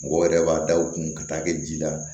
Mɔgɔw yɛrɛ b'a da u kun ka taa kɛ ji la